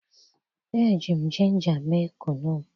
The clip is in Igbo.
eji m ginger mee Kunu m